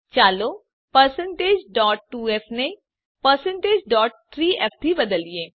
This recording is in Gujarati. ચાલો 2f ને 3f થી બદલીએ